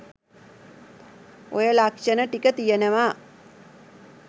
ඔය ලක්ෂණ ටික තියෙනවා